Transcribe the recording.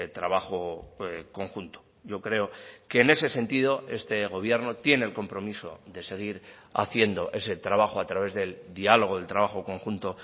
trabajo conjunto yo creo que en ese sentido este gobierno tiene el compromiso de seguir haciendo ese trabajo a través del diálogo del trabajo conjunto